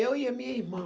Eu e a minha irmã.